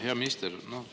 Hea minister!